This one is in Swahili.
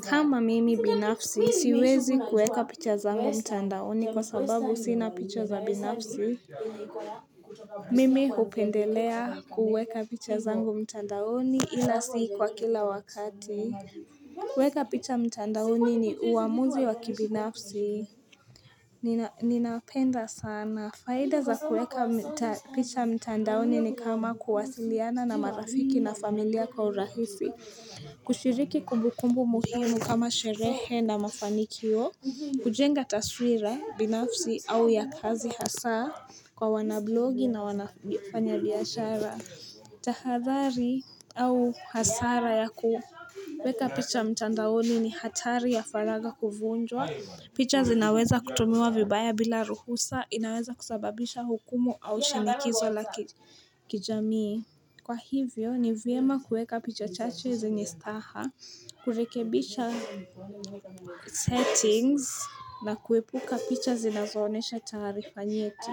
Kama mimi binafsi, siwezi kuweka picha zangu mtandaoni kwa sababu sina picha za binafsi. Mimi hupendelea kuweka picha zangu mtandaoni ila si kwa kila wakati. Kueka picha mtandaoni ni uamuzi wa kibinafsi. Ninapenda sana. Faida za kueka picha mtandaoni ni kama kuwasiliana na marafiki na familia kwa urahisi. Kushiriki kumbukumbu muhimu kama sherehe na mafanikio, kujenga taswira binafsi au ya kazi hasa kwa wanablogi na wafanya biashara tahadhari au hasara ya kuweka picha mtandaoni ni hatari ya faraga kuvunjwa picha zinaweza kutumiwa vibaya bila ruhusa. Inaweza kusababisha hukumu au shinikizo la kijamii. Kwa hivyo, ni vyema kuweka picha chache zenye staha, kurekebisha settings na kuepuka picha zinazoonyesha taarifa nyeti.